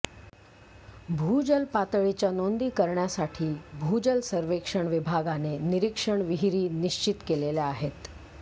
भूजल पातळीच्या नोंदी करण्यासाठी भूजल सर्वेक्षण विभागाने निरीक्षण विहीरी निश्चित केलेल्या आहेत